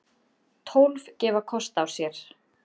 Tólf gefa kost á sér.